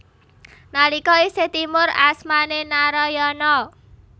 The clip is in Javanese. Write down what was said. Nalika isih timur asmané Narayana